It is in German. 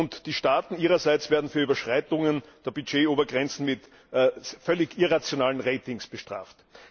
Und die Staaten ihrerseits werden für Überschreitungen der Budgetobergrenzen mit völlig irrationalen Ratings bestraft.